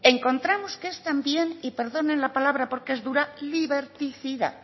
encontramos que es también y perdonen la palabra porque es dura liberticida